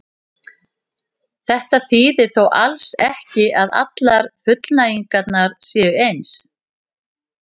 Þetta þýðir þó alls ekki að allar fullnægingar séu eins.